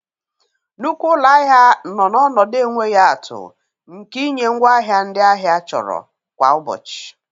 Nnukwu ụlọ ahịa nọ n'ọnọdụ enweghị atụ nke ịnye ngwaahịa ndị ahịa chọrọ kwa ụbọchị.